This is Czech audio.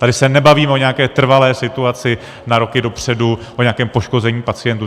Tady se nebavíme o nějaké trvalé situaci na roky dopředu, o nějakém poškození pacientů.